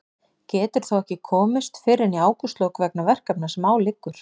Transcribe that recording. Getur þó ekki komist fyrr en í ágústlok vegna verkefna sem á liggur.